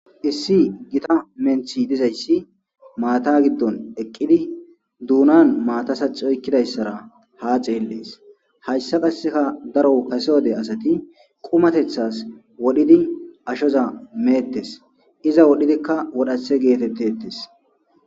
Issi githa menththi dizayssi maathaa giddon eqqidi doonaan giddon maathaa saxxi oyqqidaysara haa xeellees; hayssa qassika daro haysa wode asathi qumatheththaas wodhidi ashozan meeththes; iza worizikka worayshe geetheththeeththes.